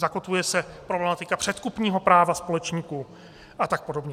Zakotvuje se problematika předkupního práva společníků, a tak podobně.